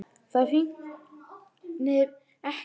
Það rignir ekki.